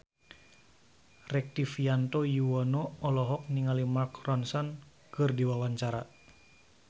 Rektivianto Yoewono olohok ningali Mark Ronson keur diwawancara